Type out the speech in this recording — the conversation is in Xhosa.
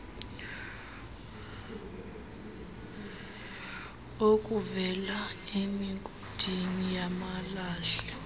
okuvela emigodini yamalahle